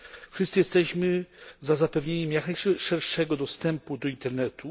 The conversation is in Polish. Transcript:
Wszyscy jesteśmy za zapewnieniem jak najszerszego dostępu do Internetu.